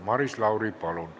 Maris Lauri, palun!